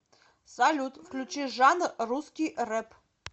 салют включи жанр русский рэп